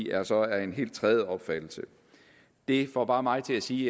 er så af en helt tredje opfattelse det får bare mig til at sige